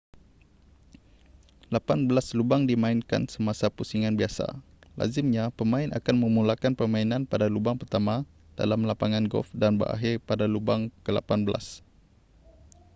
lapan belas lubang dimainkan semasa pusingan biasa lazimnya pemain akan memulakan permainan pada lubang pertama dalam lapangan golf dan berakhir pada lubang kelapan belas